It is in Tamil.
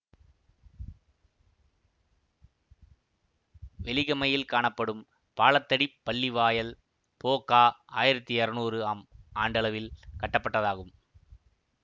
வெலிகமையில் காணப்படும் பாலத்தடிப் பள்ளிவாயல் பொகா ஆயிரத்தி இருநூறு ஆம் ஆண்டளவில் கட்டப்பட்டதாகும்